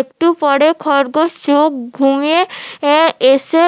একটু পরে খরগোশ চোখ ঘুমিয়ে এসে